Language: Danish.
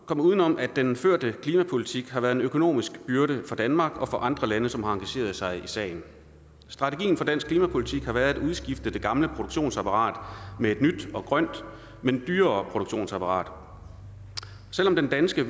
komme uden om at den førte klimapolitik har været en økonomisk byrde for danmark og for andre lande som har engageret sig i sagen strategien for dansk klimapolitik har været at udskifte det gamle produktionsapparat med et nyt og grønt men dyrere produktionsapparat selv om den danske